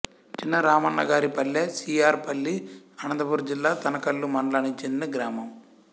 Chinnaramannagaripalle C R Palli Anantapuram జిల్లా తనకల్లు మండలానికి చెందిన గ్రామం